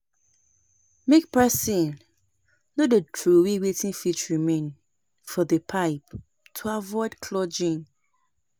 Make person no de trowey wetin fit remain for the pipe to avoid clogging